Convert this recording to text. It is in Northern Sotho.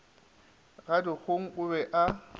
ga dikgong o be a